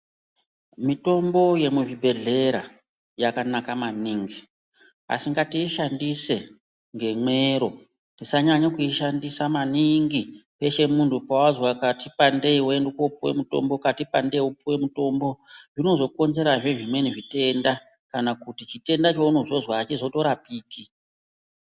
Mitombo yemuzvibhedhlera yakanaka maningi asi ngatiishandise ngemwero. Tisanyanya kuishandisa maningi peshe muntu pawazwa kati pandei wotenda kopuwe mutombo kati pande wopuwe mutombo. Zvinozokonzerazve zvimweni zvitenda kana kuti chitenda chaunozozwa hachizotorapiki.